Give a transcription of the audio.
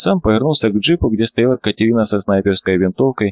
сам повернулся к джипу где стояла катерина со снайперской винтовкой